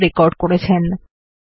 যোগ দেওয়ার জন্য ধন্যবাদ